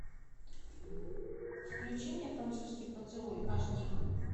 включи мне французский поцелуй аш ди